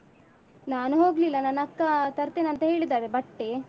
ನಾನು ಹೋಗ್ಲಿಲ್ಲ ನನ್ನ ಅಕ್ಕಾ ತರ್ತೇನಂತ ಹೇಳಿದ್ದಾರೆ ಬಟ್ಟೆ.